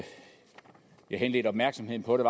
henlede opmærksomheden på det